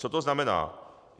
Co to znamená?